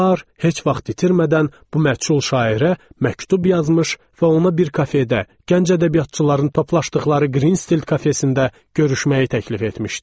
Bar heç vaxt itirmədən bu məchul şairə məktub yazmış və ona bir kafedə, gənc ədəbiyyatçıların topladığı Greenstild kafesində görüşməyi təklif etmişdi.